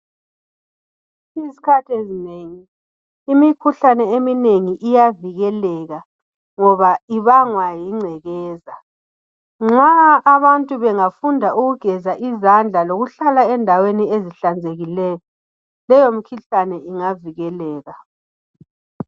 Izikhathi ezinengi imikhuhlane eminengi iyavikeleka ngoba ibangwa yingcekeza. Nxa abantu bengafunda ukugeza izandla lokuhlala endaweni ezihlanzekileyo leyo mikhuhlane ingavikeleka.